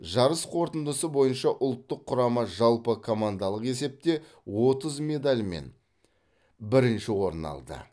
жарыс қорытындысы бойынша ұлттық құрама жалпы командалық есепте отыз медальмен бірінші орын алды